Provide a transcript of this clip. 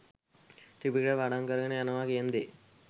ත්‍රිපිටකය පාඩම් කරගෙන යනවා කියන දේ